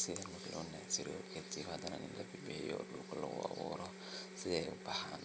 sitha u bilowno natio kaddip hadan ina bimiye si dulka logu aburo kadip hadan in labimeyo si ay u bxan.